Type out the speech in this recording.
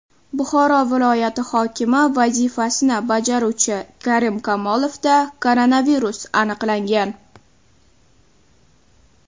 Buxoro viloyati hokimi vazifasini bajaruvchi Karim Kamolovda koronavirus aniqlangan.